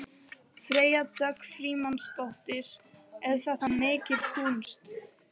Freyja Dögg Frímannsdóttir: Er þetta mikil kúnst?